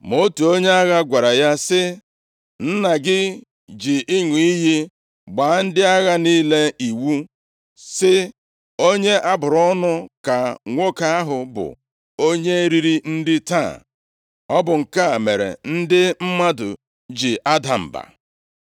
Ma otu onye agha gwara ya sị, “Nna gị ji ịṅụ iyi gbaa ndị agha niile iwu, sị, ‘Onye a bụrụ ọnụ ka nwoke ahụ bụ, onye riri nri taa. Ọ bụ nke a mere ndị mmadụ ji ada mba.’ ”